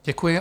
Děkuji.